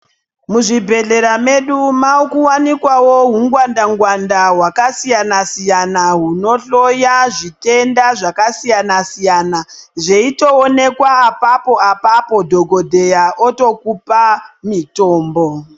Muzvibhehlera medu maakuwanikwawo hungwanda-ngwanda hwakasiyana-siyana hunohloya zvitenda zvakasiyana-siyana. Zveitoonekwa apapo apapo dhokodheya otokupa mitombo.